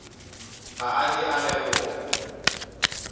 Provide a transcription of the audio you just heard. ga a ke a leboga